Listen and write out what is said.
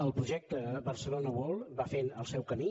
el projecte barcelona world va fent el seu camí